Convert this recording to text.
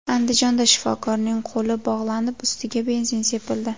Andijonda shifokorning qo‘li bog‘lanib, ustiga benzin sepildi.